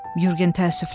Yurgen təəssüfləndi.